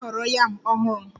M na-ahọrọ yam ọhụrụ